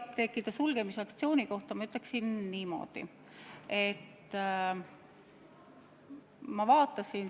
Ketiapteekide sulgemisaktsiooni kohta ma ütleksin niimoodi.